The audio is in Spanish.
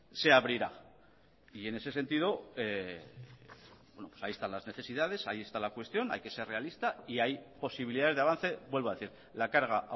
se abrirá y en ese sentido ahí están las necesidades ahí está la cuestión hay que ser realista y hay posibilidades de avance vuelvo a decir la carga